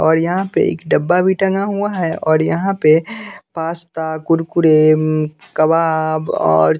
और यहां पे एक डब्बा भी टंगा हुआ है और यहां पे पास्ता कुरकुरे उम्म कबाब और--